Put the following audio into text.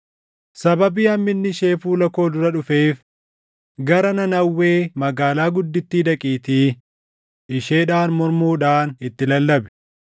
“Sababii hamminni ishee fuula koo dura dhufeef, gara Nanawwee magaalaa guddittii dhaqiitii isheedhaan mormuudhaan itti lallabi.”